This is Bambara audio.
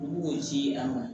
Olu b'o ji a ma